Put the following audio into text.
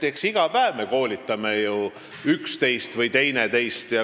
Eks me iga päev ju koolitame üksteist.